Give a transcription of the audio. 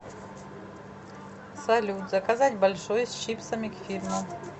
салют заказать большой с чипсами к фильму